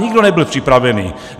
Nikdo nebyl připravený!